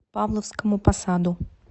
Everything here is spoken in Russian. павловскому посаду